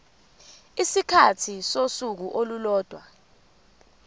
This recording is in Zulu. isikhathi sosuku olulodwa